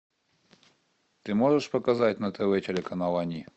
ты можешь показать на тв телеканал они